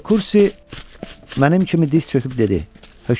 De Kursi mənim kimi diz çöküb dedi: